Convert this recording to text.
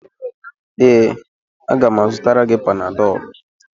Ee, a ga m azụtara gị Panadọlụ.